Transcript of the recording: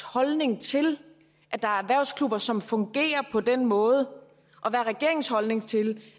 holdning til at der er erhvervsklubber som fungerer på den måde og hvad er regeringens holdning til